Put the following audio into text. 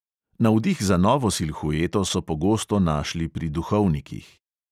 Navdih za novo silhueto so pogosto našli pri duhovnikih.